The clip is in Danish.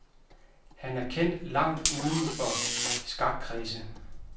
Han er kendt langt uden for skakkredse.